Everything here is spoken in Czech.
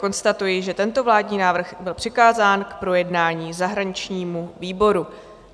Konstatuji, že tento vládní návrh byl přikázán k projednání zahraničnímu výboru.